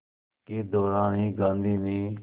के दौरान ही गांधी ने